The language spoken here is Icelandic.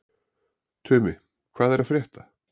Tumi, hvað er að frétta?